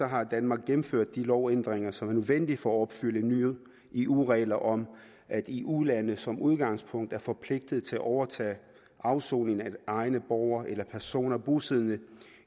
har danmark gennemført de lovændringer som er nødvendige for at opfylde nye eu regler om at eu lande som udgangspunkt er forpligtet til at overtage afsoning af egne borgere eller personer bosiddende